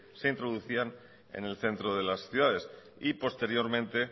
se introducían en el centro de las ciudades y posteriormente